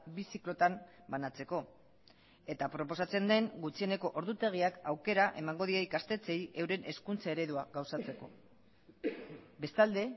bi ziklotan banatzeko eta proposatzen den gutxieneko ordutegiak aukera emango die ikastetxeei euren hezkuntza eredua gauzatzeko bestalde